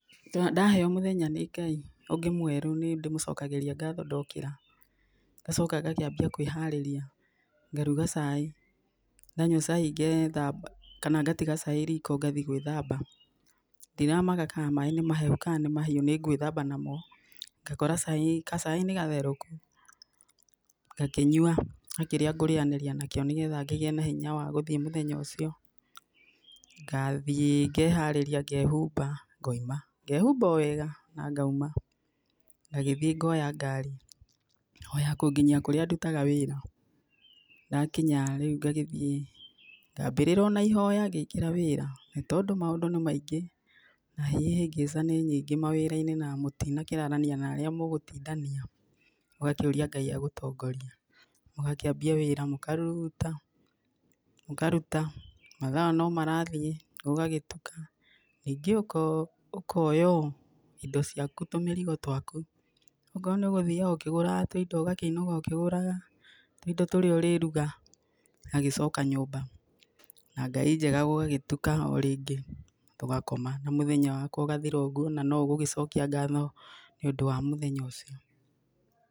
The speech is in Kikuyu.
Ndaheo mũthenya nĩ Ngai ũngĩ mwerũ nĩndĩmũcokagĩria ngatho ndokĩra, ngacoka ngakĩambia kwĩharĩria, ngaruga cai, ndanyua cai ngethamba, kana ngatiga cai riko ngathiĩ gwĩthamba, ndiramaka ka maĩ nĩ mahiũ ka nĩ mahehu, ngakora cai, gacai nĩgatherũku, ngakĩnyua, na kĩrĩa ngũrĩanĩria nakĩo nígetha ngagĩa na hinya wa gũthiĩ mũthenya ũcio, ngathiĩ ngeharĩria ngehumba, ngauma, ngehumba o wega na ngauma, ngagĩthiĩ ngoya ngari, o ya gũkĩnginyia kũrĩa ndutaga wĩra, ndakinya rĩu ngagĩthiĩ, ngambĩrĩria ona ihoya ngĩingĩra wĩra, tondũ maũndũ nĩ maingĩ, na ihĩngĩca nĩ nyingĩ mawĩra-inĩ na mũtinakĩrarania na arĩa mũgũtindania, ũgakĩũria Ngai agũtongorie, mũgakĩambia wĩra, mũkaruta, mũkaruta, matha no marathiĩ, gũgagĩtuka, ningĩ ũko, ũkoya indo ciaku tũmĩrigo twaku, okorwo nĩũgũthiaga ũkĩgũraga tũindo ũgakĩinũka ũkĩgũraga tũindo tũrĩa ũrĩruga, ũgagĩcoka nyũmba, na Ngai njega gũgagĩtuka o rĩngĩ, tũgagĩkoma na mũthenya waku ũgathira oũguo na noũgũgĩcokia ngatho nĩũndũ wa mũthenya ũcio.